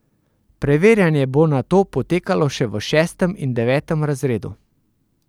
Preverjanje bo nato potekalo še v šestem in devetem razredu.